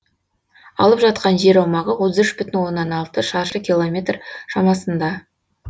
алып жатқан жер аумағы отыз үш бүтін онна алты шаршы километр шамасында